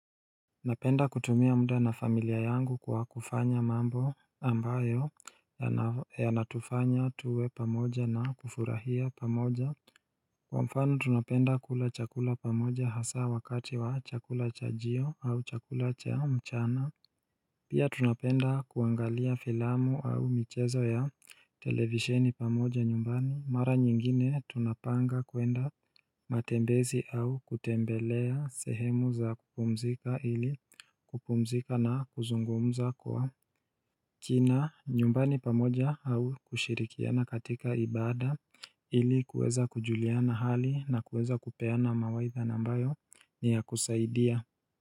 Napenda kutumia mda na familia yangu kwa kufanya mambo ambayo ya natufanya tuwe pamoja na kufurahia pamoja Kwa mfano tunapenda kula chakula pamoja hasaa wakati wa chakula cha jio au chakula cha mchana Pia tunapenda kuangalia filamu au michezo ya televisheni pamoja nyumbani mara nyingine tunapanga kwenda matembezi au kutembelea sehemu za kupumzika ili kupumzika na kuzungumza kwa kina nyumbani pamoja au kushirikiana katika ibada ili kueza kujuliana hali na kueza kupeana mawaitha nambayo ni ya kusaidia.